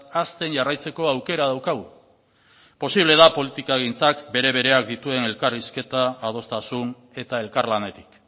hazten jarraitzeko aukera daukagu eta posible da politikagintzak bere bereak dituen elkarrizketa adostasun eta elkarlanetik